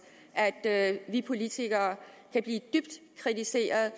at vi politikere kan blive dybt kritiseret